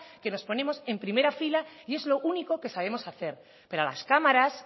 que nos ponemos en primera fila y es lo único que sabemos hacer pero a las cámaras